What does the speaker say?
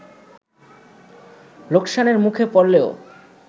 লোকসানের মুখে পড়লেও